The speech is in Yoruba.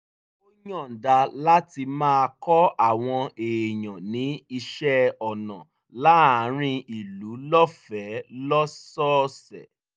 ó yọ̀ǹda láti máa kọ́ àwọn èèyàn ní iṣẹ́ ọnà láàárín ìlú lọ́fẹ̀ẹ́ lọ́sọ̀ọ̀sẹ̀